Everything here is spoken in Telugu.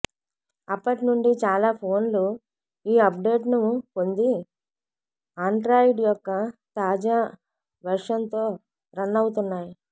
అప్పటి నుండి చాలా ఫోన్లు ఈ అప్డేట్ను పొంది ఆండ్రాయిడ్ యొక్క తాజా వెర్షన్తో రన్ అవుతున్నాయి